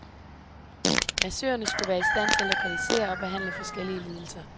Massørerne skulle være i stand til at lokalisere og behandle forskellige lidelser.